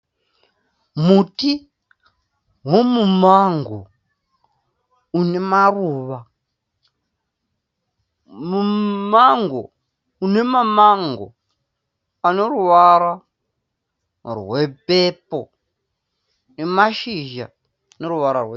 Muti womumango une maruva, mumango une mamango ano ruvara rwe pepo nemashizha ane ruvara rwegirini.